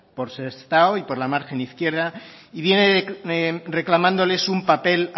por sestao y por la margen izquierda y viene reclamándoles un papel